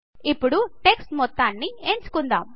ఇప్పుడు టెక్స్ట్ మొత్తంను ఎంచుకుందాం